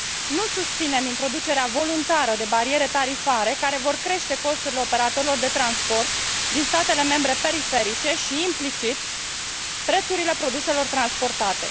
Nu susținem introducerea voluntară de bariere tarifare care vor crește costurile operatorilor de transport din statele membre periferice și implicit prețurile produselor transportate.